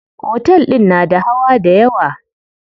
Otel din na da hawa dayawa.